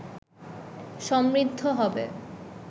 সমৃদ্ধ হবে